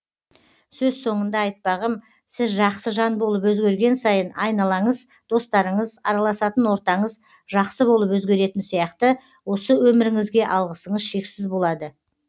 сөз соңында айтпағым сіз жақсы жан болып өзгерген сайын айналаңыз достарыңыз араласатын ортаңыз жақсы болып өзгеретін сияқты осы өміріңізге алғысыңыз шексіз болады